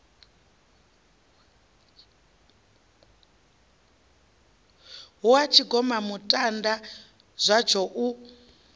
hu ha tshigomamutanda zwatsho u